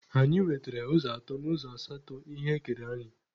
Anyị nwetere ụzọ atọ n'ụzọ asatọ ihe ekere anyị.